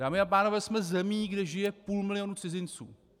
Dámy a pánové, jsme zemí, kde žije půl milionu cizinců.